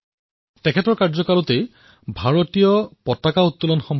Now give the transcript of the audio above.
অটলজীৰ কাৰ্যকালত আৰু এটা স্বাধীনতা প্ৰাপ্ত হল